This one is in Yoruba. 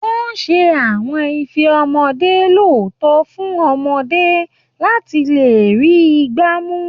Wọ́n ṣe àwọn ife ọmọdé lọ́tọ̀ fún ọmọdé láti lè rí i gbá mú